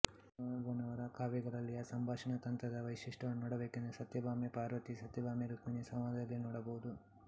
ಭೀಮವ್ವನವರ ಕಾವ್ಯಗಳಲ್ಲಿಯ ಸಂಭಾಷಣಾ ತಂತ್ರದ ವೈಶಿಷ್ಟ್ಯವನ್ನು ನೋಡಬೇಕೆಂದರೆ ಸತ್ಯಭಾಮೆ ಪಾರ್ವತಿ ಸತ್ಯಭಾಮೆ ರುಕ್ಮಿಣಿ ಸಂವಾದದಲ್ಲಿ ನೋಡಬಹುದು